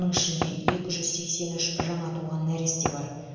оның ішінде екі жүз сексен үш жаңа туған нәресте бар